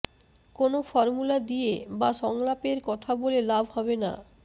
কোনো ফর্মুলা দিয়ে বা সংলাপের কথা বলে লাভ হবে না